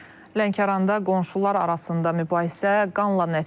Lənkəranda qonşular arasında mübahisə qanla nəticələnib.